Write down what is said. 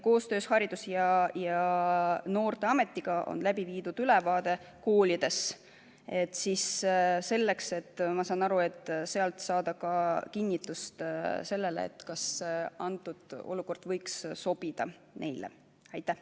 Koostöös Haridus- ja Noorteametiga on koolidele sellest ülevaade antud, ja seda selleks, ma saan aru, et selgeks teha, kas see kord võiks neile sobida.